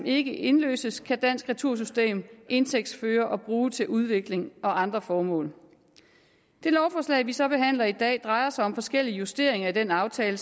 ikke indløses kan dansk retursystem indtægtsføre og bruge til udvikling og andre formål det lovforslag vi så behandler i dag drejer sig om forskellige justeringer i den aftale